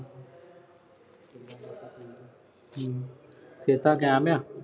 ਹਮ । ਇਹ ਤਾਂ ਕਿਹਾ ਮੈਂ।